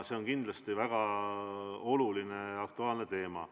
See on kindlasti väga oluline ja aktuaalne teema.